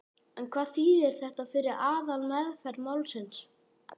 En hvað þýðir þetta fyrir aðalmeðferð málsins?